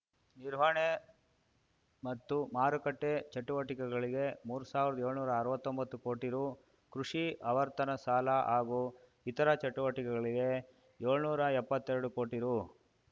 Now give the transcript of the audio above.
ನಿರ್ವಹಣೆ ಮತ್ತು ಮಾರುಕಟ್ಟೆಚಟುವಟಿಕೆಗಳಿಗೆ ಮೂರ್ ಸಾವಿರ್ದಾಏಳ್ನೂರಾ ಅರ್ವತ್ತೊಂಬತ್ತು ಕೋಟಿ ರು ಕೃಷಿ ಆವರ್ತನ ಸಾಲ ಹಾಗೂ ಇತರ ಚಟುವಟಿಕೆಗಳಿಗೆ ಏಳ್ನೂರಾ ಎಪ್ಪತ್ತೆರಡು ಕೋಟಿ ರು